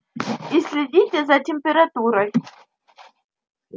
и следите за температурой